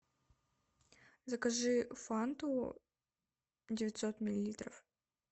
закажи фанту девятьсот миллилитров